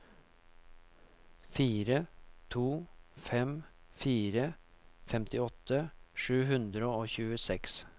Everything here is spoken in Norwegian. fire to fem fire femtiåtte sju hundre og tjueseks